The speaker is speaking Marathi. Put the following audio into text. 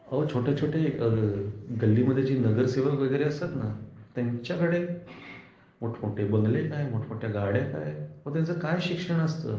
अहो छोटे छोटे गल्ली मध्ये जे नगरसेवक वगैरे असतात ना त्यांच्याकडे मोठ मोठे बंगले काय मोठ मोठ्या गाड्या काय अहो त्यांच काय शिक्षण असतं?